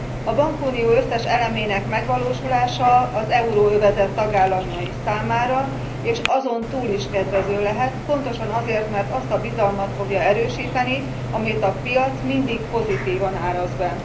A bankunió összes elemének megvalósulása az euróövezet tagállamai számára és azon túl is kedvező lehet, pontosan azért, mert azt a bizalmat fogja erősíteni, amit a piac mindig pozitívan áraz be.